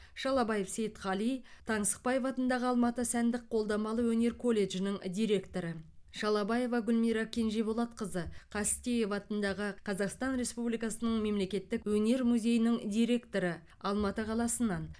шалабаев сейтхали таңсықбаев атындағы алматы сәндік қолданбалы өнер колледжінің директоры шалабаева гүлмира кенжеболатқызы қастеев атындағы қазақстан республикасының мемлекеттік өнер музейінің директоры алматы қаласынан